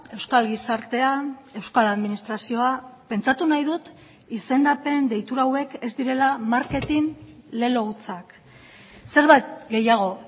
euskal gizartea euskal administrazioa pentsatu nahi dut izendapen deitura hauek ez direla marketin lelo hutsak zerbait gehiago